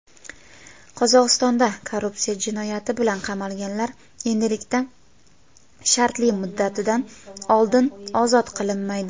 Qozog‘istonda korrupsiya jinoyati bilan qamalganlar endilikda shartli-muddatidan oldin ozod qilinmaydi.